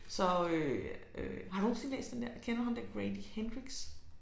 Så øh øh har du nogensinde læst den der kender du ham der Grady Hendrix?